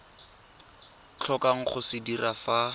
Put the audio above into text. tlhokang go se dira fa